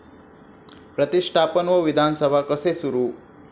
प्रतिष्ठापन व विधानसभा कसे सुरू